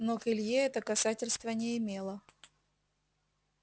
но к илье это касательства не имело